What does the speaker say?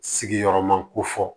Sigiyɔrɔma kofɔ